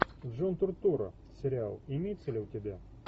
джон туртура сериал имеется ли у тебя